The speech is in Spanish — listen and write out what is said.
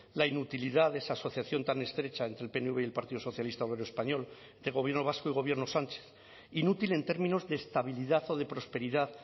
la inutilidad de esa asociación tan estrecha entre el pnv y el partido socialista obrero español del gobierno vasco y gobierno sánchez inútil en términos de estabilidad o de prosperidad